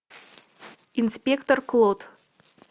инспектор клот